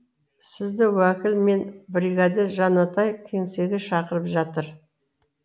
сізді уәкіл мен біргәдір жанатай кеңсеге шақырып жатыр